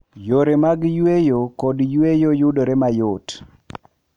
Yore mag yueyo kod yueyo yudore mayot.